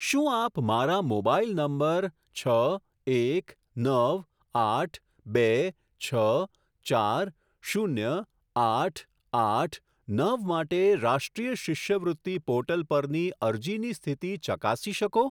શું આપ મારા મોબાઈલ નંબર છ એક નવ આઠ બે છ ચાર શૂન્ય આઠ આઠ નવ માટે રાષ્ટ્રીય શિષ્યવૃત્તિ પોર્ટલ પરની અરજીની સ્થિતિ ચકાસી શકો?